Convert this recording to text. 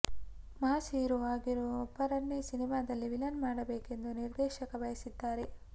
mass hero ಆಗಿರೋ ಒಬ್ಬರನ್ನೇ ಸಿನಿಮಾದಲ್ಲಿ ವಿಲನ್ ಮಾಡಬೇಕೆಂದು ನಿರ್ದೇಶಕ ಬಯಸಿದ್ದಾರೆ